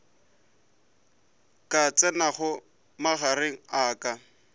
ka tsenago magareng a ka